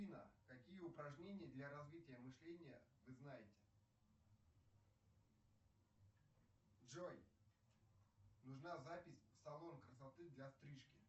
афина какие упражнения для развития мышления вы знаете джой нужна запись в салон красоты для стрижки